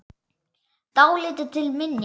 Dálítið til minja.